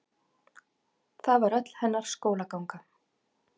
Það var öll hennar skólaganga.